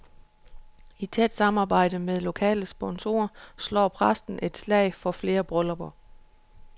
I tæt samarbejde med lokale sponsorer slår præsten et slag for flere bryllupper.